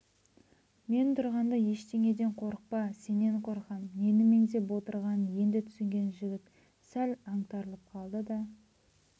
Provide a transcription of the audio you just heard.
мен тұрғанда ештеңеден қорықпа сенен қорқам нені меңзеп отырғанын енді түсінген жігіт сәл аңтарылып қалды да